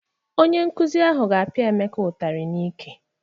Onye nkụzi ahụ ga-apịa Emeka ụtarị n'íkè.